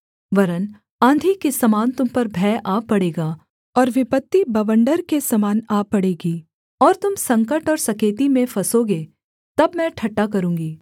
वरन् आँधी के समान तुम पर भय आ पड़ेगा और विपत्ति बवण्डर के समान आ पड़ेगी और तुम संकट और सकेती में फँसोगे तब मैं ठट्ठा करूँगी